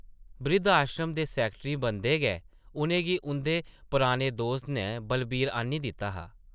ब्रिद्ध-आश्रम दे सैकटरी बनदे गै उʼनें गी उंʼदे पराने दोस्त नै बलवीर आह्न्नी दित्ता हा ।